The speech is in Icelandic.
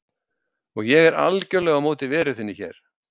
Og ég er algerlega á móti veru þinni hér.